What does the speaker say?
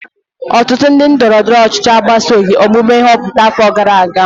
ọtụtụ ndị ndọrọ ndọrọ ọchịchị agbasoghị omume nhọpụta afọ gara aga